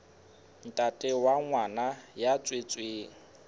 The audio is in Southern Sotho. ntate wa ngwana ya tswetsweng